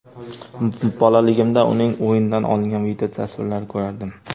Bolaligimda uning o‘yinidan olingan videotasvirlarini ko‘rardim.